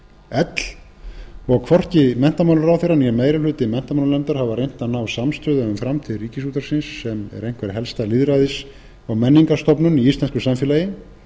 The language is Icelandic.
l og hvorki menntamálaráðherra né meiri hluti menntamálanefndar hafa reynt að ná samstöðu um framtíð ríkisútvarpsins sem er einhver helsta lýðræðis og menningarstofnun í íslensku samfélagi